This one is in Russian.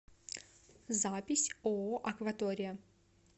запись ооо акватория